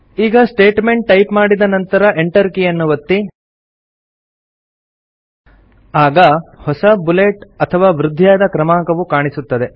ಈಗ statement type ಮಾಡಿದ ನಂತರ Enter ಕೀಯನ್ನು ಒತ್ತಿ ಹೊಸ ಬುಲೆಟ್ ಅಥವಾ ವೃದ್ಧಿಯಾದ ಕ್ರಮಾಂಕವು ಕಾಣಿಸುತ್ತದೆ